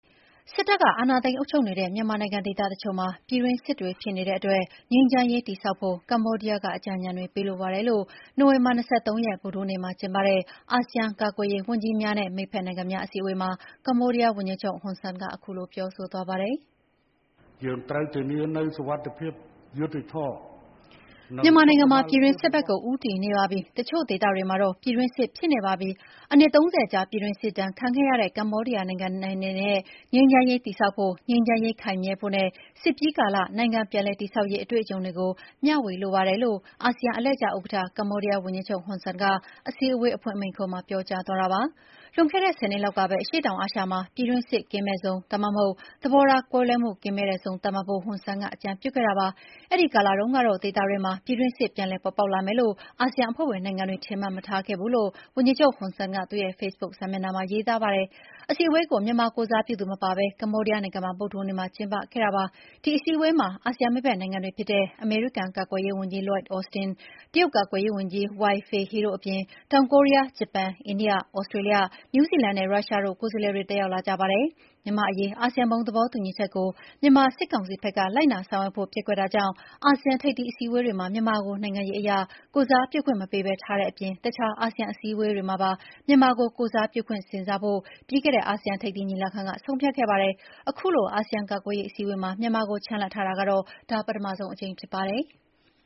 စစ်တပ်က အာဏာသိမ်း အုပ်ချုပ်နေတဲ့ မြန်မာနိုင်ငံ ဒေသတချို့မှာ ပြည်တွင်းစစ်တွေ ဖြစ်နေတဲ့အတွက် ငြိမ်းချမ်းရေး တည်ဆောက်ဖို့ ကမ္ဘောဒီးယားက အကြံဉာဏ်တွေ ပေးလိုပါတယ်လို့ နိုဝင်ဘာ ၂၃ ရက် ဗုဒ္ဓဟူးနေ့မှာ ကျင်းပတဲ့ အာဆီယံ ကာကွယ်ရေးဝန်ကြီးများနဲ့ မိတ်ဖက်နိုင်ငံများ အစည်းအဝေးမှာ ကမ္ဘောဒီးယား ဝန်ကြီးချုပ် ဟွန်ဆန်က ခုလိုပြောဆိုသွားပါတယ်။ “မြန်မာနိုင်ငံမှာ ပြည်တွင်းစစ်ဖက်ကို ဦးတည်နေပါပြီ။ တချို့ဒေသမှာတော့ ပြည်တွင်းစစ် ဖြစ်နေပါပြီ။ အနှစ် ၃၀ ကြာ ပြည်တွင်းစစ်ဒဏ် ခံခဲ့ရတဲ့ ကမ္ဘောဒီးယား နိုင်ငံအနေနဲ့ ငြိမ်းချမ်းရေး တည်ဆောက်ဖို့၊ ငြိမ်းချမ်းရေး ခိုင်မြဲဖို့နဲ့ စစ်ပြီးကာလ နိုင်ငံပြန်လည်တည်ဆောက်ရေး အတွေ့အကြုံတွေကို မ ျှဝေလိုပါတယ်လို့ အာဆီယံ အလှည့်ကျဥက္ကဌ ကမ္ဘောဒီးယားဝန်ကြီးချုပ် ဟွန်ဆန်က အစည်းအဝေးအဖွင့်မိန့်ခွန်းမှာ ပြောကြားသွားတာပါ။ လွန်ခဲ့တဲ့ ၁၀ နှစ်လောက်ကပဲ အရှေ့တောင်အာရှမှာ ပြည်တွင်းစစ်ကင်းမဲ့ဇုန်၊ ဒါမှမဟုတ် သဘောထားကွဲလွဲမှု ကင်းမဲ့တဲ့ဇုန် သတ်မှတ်ဖို့ ဟွန်ဆန်က အကြံပြုခဲ့တာပါ။ အဲဒီကာလတုန်းကတော့ ဒေသတွင်းမှာ ပြည်တွင်းစစ် ပြန်လည် ပေါ်ပေါက်လာမယ်လို့ အာဆီယံအဖွဲ့ဝင် နိုင်ငံတွေ ထင်မှတ်မထားခဲ့ဘူးလို့လည်း ဝန်ကြီးချုပ် ဟွန်ဆန်က သူ့ရဲ့ ဖေ့ဘုတ်စာမျက်နှာမှာ ရေးသားထားပါတယ်။ အစည်းအဝေးကို မြန်မာကိုယ်စားပြုသူ မပါဘဲ ကမ္ဘောဒီးယားနိုင်ငံမှာ ဗုဒ္ဓဟူးနေ့မှာ ကျင်းပခဲ့ကြပါတယ်။ ဒီအစည်းအဝေးမှာ အာဆီယံ မိတ်ဖက်နိုင်ငံတွေဖြစ်တဲ့ အမေရိကန်ကာကွယ်ရေးဝန်ကြီး Lloyd Austin၊ တရုတ်ကာကွယ်ရေးဝန်ကြီး Wei Fenghe တို့အပြင် တောင်ကိုရီးယား၊ ဂျပန်၊ အိန္ဒိယ၊ ဩစတြေးလျ၊ နယူးဇီလန်နဲ့ ရုရှားတို့က ကိုယ်စားလှယ်တွေ တက်ရောက်ကြလာကြပါတယ်။ မြန်မာအရေး အာဆီယံ ဘုံသဘောတူညီချက်ကို မြန်မာစစ်ကောင်စီဘက်က လိုက်နာဆောင်ရွက်ဖို့ ပျက်ကွက်တာကြောင့် အာဆီယံ ထိပ်သီး အစည်းအဝေးတွေမှာ မြန်မာကို နိုင်ငံရေးအရ ကိုယ်စားပြုခွင့် မပေးဘဲ ထားတဲ့အပြင် အခြား အာဆီယံ အစည်းအဝေးတွေမှာပါ မြန်မာကို ကိုယ်စားပြုခွင့် စဉ်းစားဖို့ ပြီးခဲ့တဲ့ အာဆီယံ ထိပ်သီးညီလာခံက ဆုံးဖြတ်ခဲ့ပါတယ်။ အခုလို အာဆီယံ ကာကွယ်ရေး အစည်းအဝေးမှာ မြန်မာကို ချန်လှပ်ထားတာကတော့ ဒါ ပထမဆုံးအကြိမ်ဖြစ်ပါတယ်။